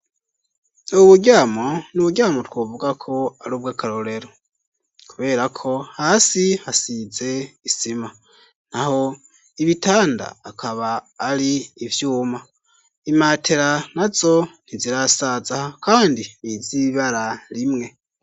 Ubu buryamo, ni uburyamo, twuvuga ko, ari ubw'akarorero; kubera ko, hasi hasize isima, naho ibitanda, akaba ari ivyuma; imatera nazo, ntizirasaza, kandi ni iz'ibara rimwe.